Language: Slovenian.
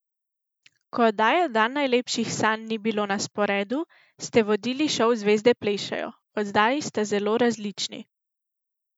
Ko oddaje Dan najlepših sanj ni bilo na sporedu, ste vodili šov Zvezde plešejo, oddaji sta zelo različni ...